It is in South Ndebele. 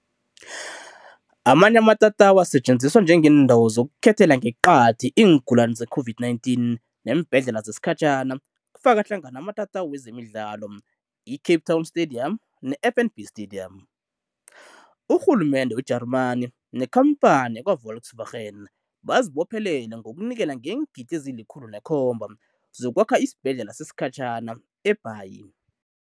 Amanye amatatawu asetjenziswa njengeendawo zokukhethela ngeqadi iingulani zeCOVID-19 neembhedlela zesikhatjhana, kufaka hlangana amatatawu wezemidlalo i-Cape Town Stadium ne-FNB Sta-dium. Urhulumende we-Germany nekhampani yakwa-Volkswagen bazibophelele ngokunikela ngeengidi ezili-R107 zokwakha isibhedlela sesikhatjhana eBhayi.